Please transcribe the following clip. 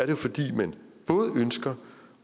jo fordi man både ønsker